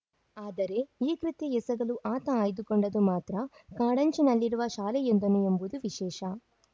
ಆದರೆ ಈ ಕೃತ್ಯ ಎಸಗಲು ಆತ ಆಯ್ದುಕೊಂಡದ್ದು ಮಾತ್ರ ಕಾಂಡಂಚಿನಲ್ಲಿರುವ ಶಾಲೆಯೊಂದನ್ನು ಎಂಬುದು ವಿಶೇಷ